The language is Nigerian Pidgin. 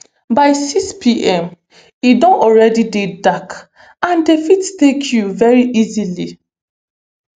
by sixpm e don already dey dark and dem fit take you veri easily